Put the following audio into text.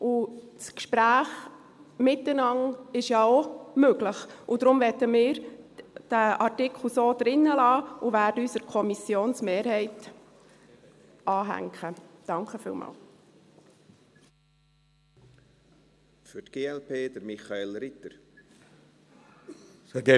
Das Gespräch miteinander ist ja auch möglich, und deshalb möchten wir diesen Artikel so drin lassen und werden uns der Kommissionsmehrheit anschliessen.